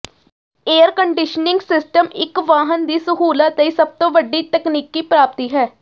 air conditioning system ਇਕ ਵਾਹਨ ਦੀ ਸਹੂਲਤ ਲਈ ਸਭ ਤੋਂ ਵੱਡੀ ਤਕਨੀਕੀ ਪ੍ਰਾਪਤੀ ਹੈ